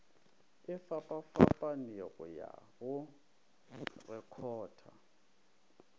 e fapafapanego ya go rekhota